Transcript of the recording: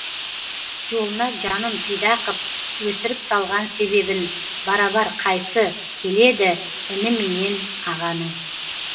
жолына жанын пида қып өсіріп салған себебін барабар қайсы келедііні менен ағаның